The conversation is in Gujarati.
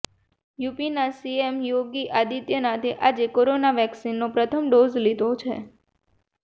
યુપીના સીએમ યોગી આદિત્યનાથે આજે કોરોના વેક્સીનનો પ્રથમ ડોઝ લીધો છે